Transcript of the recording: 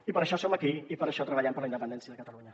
i per això som aquí i per això treballem per la independència de catalunya